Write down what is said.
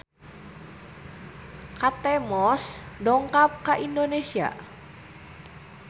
Kate Moss dongkap ka Indonesia